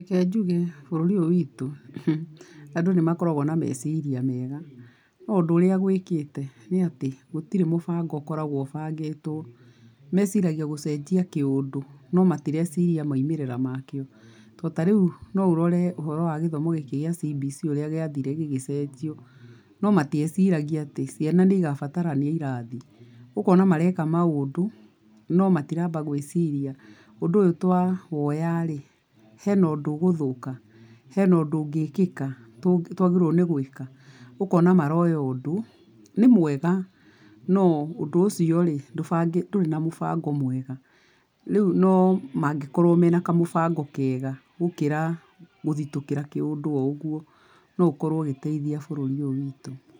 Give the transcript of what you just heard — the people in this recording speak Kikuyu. Reke njũge bũrũri ũyũ witũ uh andũ nĩ makoragwo na meciria mega, no ũndũ ũrĩa gwĩkĩte, gũtire mũbango ũkoragwo ũbangĩtwo, meciragia gũcenjia kĩũndũ, no matericiria maumĩrĩra makĩo , to tarĩu no ũrore ũhoro wa gĩthomo gĩkĩ kĩa CBC ũrĩa gĩathire gĩgĩcenjio no matieciragia atĩ ciana nĩ igabatara irathi, ũkona mareka maũndũ no matiraba gwĩciria ũndũ twawoyarĩ hena ũndũ ũgũthũka? hena ũndũ ũngĩkĩka? tũ twagĩrĩrwo nĩ gwĩka, ũkona maroya ũndũ , nĩ mwega no ũndũ ũcio rĩ ndũ ndũrĩ na mũbango mwega rĩũ no mangĩkorwo mena kamũbango kega, gũkĩra guthũkĩra kĩũndũ oũgũo no ũkorwo ũgĩteithia bũrũri ũyũ witũ.